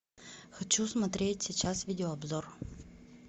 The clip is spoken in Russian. хочу смотреть сейчас видео обзор